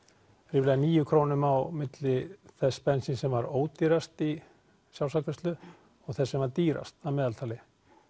ríflega níu krónum á milli þess bensíns sem var ódýrast í sjálfsafgreiðslu og þess sem var dýrast að meðaltali